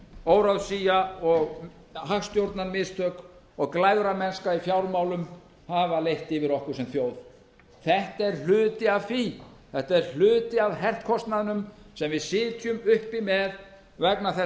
óráðsía og hagstjórnarmistök og glæframennska í fjármálum hafa leitt yfir okkur sem þjóð þetta er hluti af því þetta er hluti af herkostnaðinum sem við sitjum uppi með vegna þess